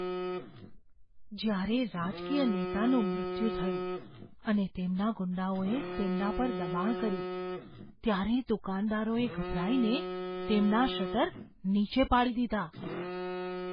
જ્યારે રાજકીય નેતાનું મૃત્યુ થયું અને તેમના ગુંડાઓએ તેમના પર દબાણ કર્યું ત્યારે દુકાનદારોએ ગભરાઈને તેમના તમામ શટર નીચે પાડી દીધા.